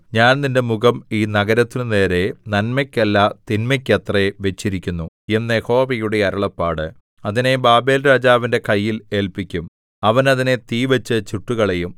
ഞാൻ എന്റെ മുഖം ഈ നഗരത്തിനുനേരെ നന്മയ്ക്കല്ല തിന്മയ്ക്കത്രേ വച്ചിരിക്കുന്നു എന്ന് യഹോവയുടെ അരുളപ്പാട് അതിനെ ബാബേൽരാജാവിന്റെ കയ്യിൽ ഏല്പിക്കും അവൻ അതിനെ തീവച്ചു ചുട്ടുകളയും